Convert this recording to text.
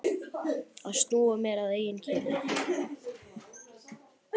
Að snúa mér að eigin kyni.